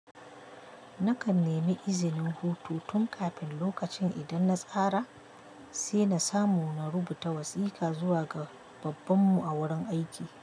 Nakan nemi izinin hutu tun kafin lokacin idan na tsara, sai na samu na rubuta wasiƙa zuwa ga babbanmu a wurin aiki.